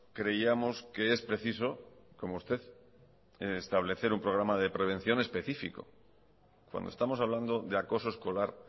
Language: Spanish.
creíamos que es preciso como usted establecer un programa de prevención específico cuando estamos hablando de acoso escolar